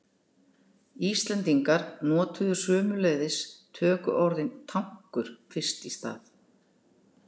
Íslendingar notuðu sömuleiðis tökuorðið tankur fyrst í stað.